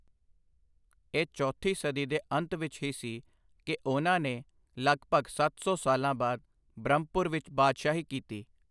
ਇਹ ਚੌਥੀ ਸਦੀ ਦੇ ਅੰਤ ਵਿੱਚ ਹੀ ਸੀ ਕਿ ਉਹਨਾਂ ਨੇ ਲਗਭਗ ਸੱਤ ਸੌ ਸਾਲਾਂ ਬਾਅਦ ਬ੍ਰਹਮਪੁਰ ਵਿੱਚ ਬਾਦਸ਼ਾਹੀ ਕੀਤੀ।